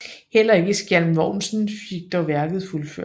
Heller ikke Skjalm Vognsen fik dog værket fuldført